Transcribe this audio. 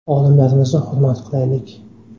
Olimlarimizni hurmat qilaylik.